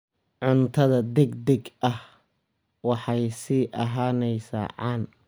Cuntada degdega ahi waxay sii ahaanaysaa caan.